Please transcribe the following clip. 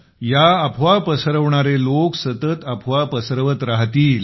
या अफवा पसरविणारे लोक सतत अफवा पसरवत राहतील